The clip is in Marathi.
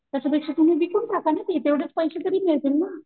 त्याच्या पेक्षा तुम्ही विकून टाक ना ती तेवढेच पैसे तरी मिळतील ना .